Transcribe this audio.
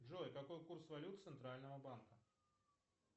джой какой курс валют центрального банка